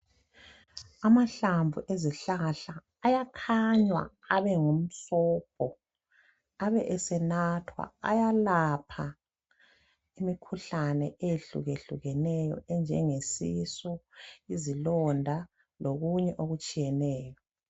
Amahlamvu ezihlahla ayakhanywa abe ngumsobho abe esenathwa. Ayalapha imikhuhlane eyehlukeneyo enjengesisu, izilonda lokunye okutshiyeneyo.